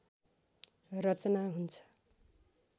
रचना हुन्छ